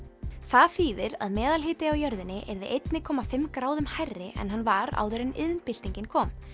það þýðir að meðalhiti á jörðinni yrði einni komma fimm gráðum hærri en hann var áður en iðnbyltingin kom